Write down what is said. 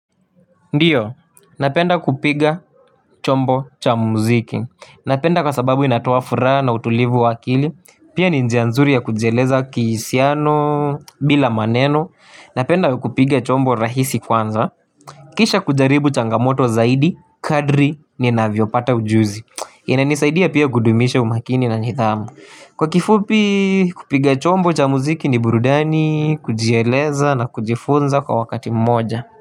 Ndio, napenda kupiga chombo cha muziki, napenda kwa sababu inatoa furaha na utulivu wa akili, pia ni njia nzuri ya kujieleza kihisiano bila maneno, napenda kupiga chombo rahisi kwanza Kisha kujaribu changamoto zaidi, kadri ninavyopata ujuzi, inanisaidia pia kudumisha umakini na nidhamu Kwa kifupi kupiga chombo cha muziki ni burudani, kujieleza na kujifunza kwa wakati mmoja.